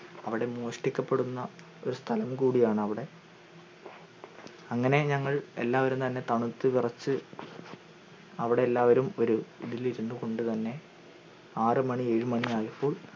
അവിടെ മോഷ്ടിക്കപ്പെടുന്ന ഒരു സ്ഥലം കൂടിയാണവടെ അങ്ങനെ ഞങ്ങൾ എല്ലാവരും തന്നെ തണുത്തു വിറച്ചു അവിടെ ഒരു കു കൊണ്ടുതന്നെ ആറ് മാണി ഏഴുമണി ആയപ്പോൾ